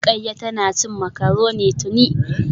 Rukayya tana cin macaroni tuni